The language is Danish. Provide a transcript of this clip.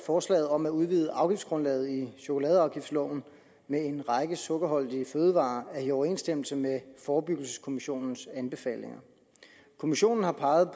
forslaget om at udvide afgiftsgrundlaget i chokoladeafgiftsloven med en række sukkerholdige fødevarer er i overensstemmelse med forebyggelseskommissionens anbefalinger kommissionen har peget